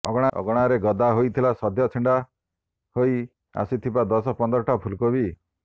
ଅଗଣାରେ ଗଦା ହେଇଥିଲା ସଦ୍ୟ ଛିଣ୍ଡା ହେଇ ଆସିଥିବା ଦଶ ପନ୍ଦରଟା ଫୁଲକୋବି